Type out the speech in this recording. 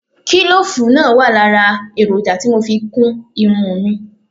Kílòfù náà wà lára èròjà tí mo fi kún irun mi